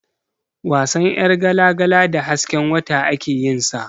Wasan ƴargala-gala da hasken wata ake yin sa.